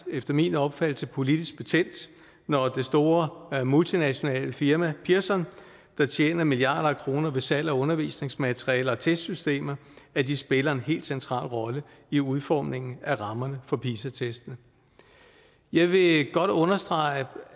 efter min opfattelse nærmest politisk betændt når det store multinationale firma pearson der tjener milliarder af kroner ved salg af undervisningsmaterialer og testsystemer spiller en helt central rolle i udformningen af rammerne for pisa testene jeg vil godt understrege